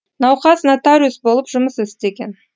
науқас нотариус болып жұмыс істеген